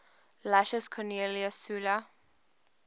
lucius cornelius sulla